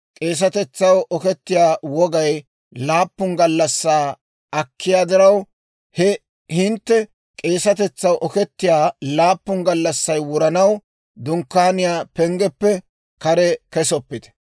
K'eesatetsaw okkiyaa wogay laappun gallassaa akkiyaa diraw, he hintte k'eesatetsaw okettiyaa laappun gallassay wuranaw, Dunkkaaniyaa penggeppe kare kesoppite.